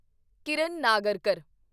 Kiran Nagarkar